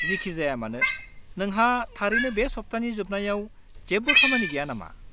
-जिखिजायामानो, नोंहा थारैनो बे सप्तानि जोबनायाव जेबो खामानि गैया नामा?